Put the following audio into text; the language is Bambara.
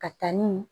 Ka taa ni